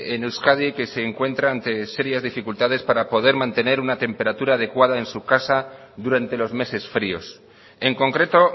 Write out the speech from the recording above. en euskadi que se encuentra ante serias dificultades para poder mantener una temperatura adecuada en su casa durante los meses fríos en concreto